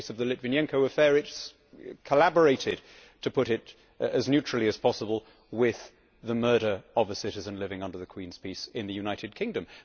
In the case of the Litvinenko affair it collaborated, to put it as neutrally as possible, with the murder of a citizen living under the Queen's peace in the United Kingdom.